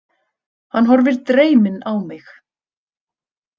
Hann horfir dreyminn á mig.